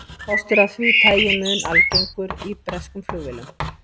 Kostur af því tagi mun algengur í breskum flugvélum.